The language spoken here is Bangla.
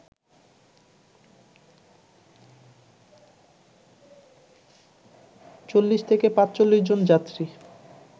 ৪০-৪৫ জন যাত্রী